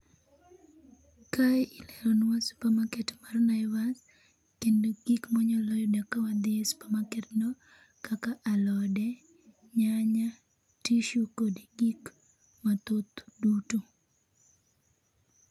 Kae ileronwa supermarket mar Naivas kendo gik ma wanyalo yudo kawadhi e supermarket no kaka alode, nyanya, tissue kod gik mathoth duto